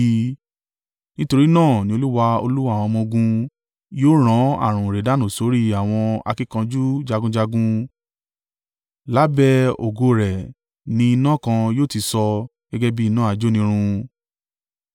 Nítorí náà, ni Olúwa, Olúwa àwọn ọmọ-ogun, yóò rán ààrùn ìrẹ̀dànù sórí àwọn akíkanjú jagunjagun, lábẹ́ ògo rẹ̀ ni iná kan yóò ti sọ gẹ́gẹ́ bí iná ajónirun.